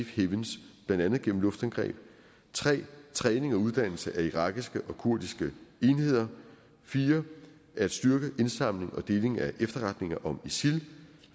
heavens blandt andet gennem luftangreb 3 træning og uddannelse af irakiske og kurdiske enheder 4 at styrke indsamling og deling af efterretninger om isil